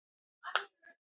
Innt eftir: Hví?